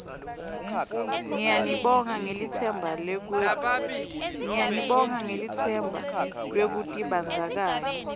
ngiyanibonga ngelitsemba lwekutibandzakanya